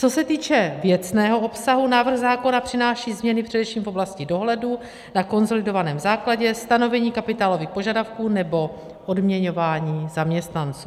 Co se týče věcného obsahu, návrh zákona přináší změny především v oblasti dohledu na konsolidovaném základě, stanovení kapitálových požadavků nebo odměňování zaměstnanců.